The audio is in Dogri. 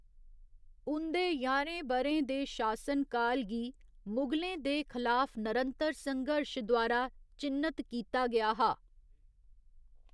उं'दे ञाह्‌रें ब'रें दे शासनकाल गी मुगलें दे खलाफ नरंतर संघर्श द्वारा चि'न्नत कीता गेआ हा।